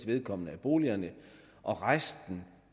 af boligerne og